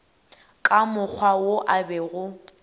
ka mokgwa wo a bego